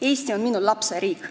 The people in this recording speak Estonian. Eesti on minu lapse riik.